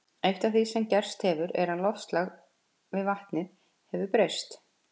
Eitt af því sem gerst hefur er að loftslag við vatnið hefur breyst.